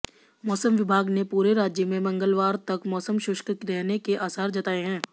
मौसम विभाग ने पूरे राज्य में मंगलवार तक मौसम शुष्क रहने के आसार जताए हैं